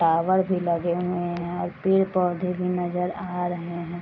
Flower भी लगे हुए हैं और पेड़ पोधे भी नजर आ रहे हैं ।